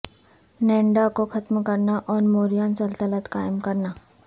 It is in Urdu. نینڈا کو ختم کرنا اور موریان سلطنت قائم کرنا